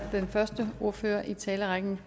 den første ordfører i talerrækken